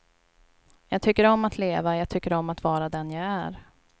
Jag tycker om att leva, jag tycker om att vara den jag är.